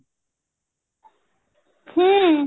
ହୁଁ